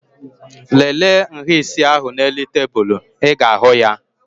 Lele nhá isi ahụ n'elu tebụl. Ị ga-ahụ ya